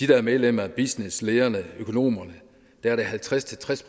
der er medlem af business lederne økonomerne er det halvtreds til tres